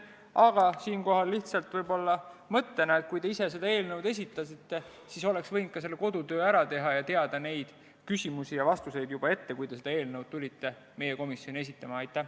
Aga siinkohal lihtsalt võib-olla mõttena, et kui te ise selle eelnõu esitasite, siis oleks võinud ka kodutöö ära teha ning teada neid küsimusi ja vastuseid juba ette, kui te meie komisjoni tulite.